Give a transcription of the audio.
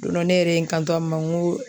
Don dɔ ne yɛrɛ ye n kanto a ma n ko